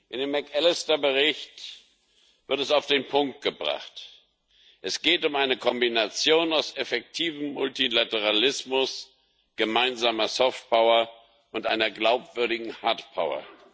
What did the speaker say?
In dem McAllister Bericht wird es auf den Punkt gebracht Es geht um eine Kombination aus effektivem Multilateralismus, gemeinsamer Softpower und einer glaubwürdigen Hardpower.